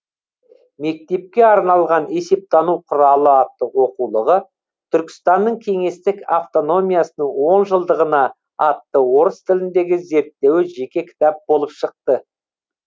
мектепке арналған есептану құралы атты оқулығы түркістанның кеңестік автономиясының он жылдығына атты орыс тіліндегі зерттеуі жеке кітап болып шықты